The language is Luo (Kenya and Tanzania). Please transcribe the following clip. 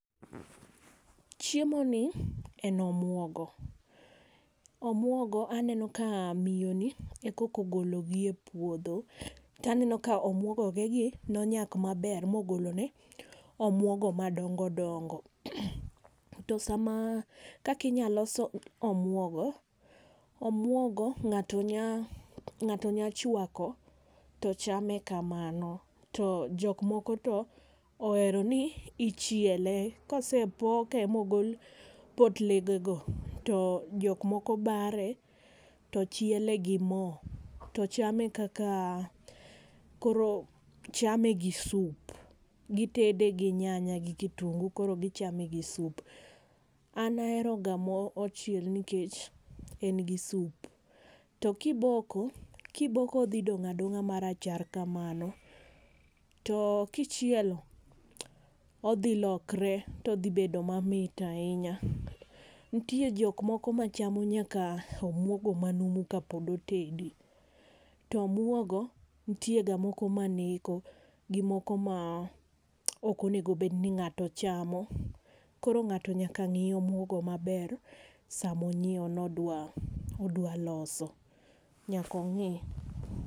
Chiemo ni en omuogo, omuogo aneno ka miyo ni e koka ogolo gi e puodho to aneno ka omuogo ge gi ne onyak ma ber ma ogolo ne omuogo ma dongo dongo. To kaka inya los omuogo, omuogo ngato nya ngato nya chwako to chame ka mano to jok moko to ohero ni ichiele, ka osepoke ma ogol potle ge go to jok moko bare to chiele gi moo to chame kaka koro chame gi sup gi tede gi nyanya gi kitungu koro gi chame gi sup. An ahero ga ma ochiel nikech en gi sup, to ki iboko odhi dong adonga ma rachar kamano, to kichielo odhi lokre to odhi bedo ma mit ainya, nitie jok moko ma chamo nyaka omuogo ma numu ka pok otedi. To omuogo nitie ga moko ma neko gi moko ma ok onego bed ni ngato chamo. Koro ngato nyaka ng'i omuogo ma ber saa ma onyiewo ni odwa odwa loso nyaka ong'i.